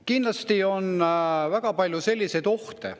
Kindlasti on siin väga palju ohte.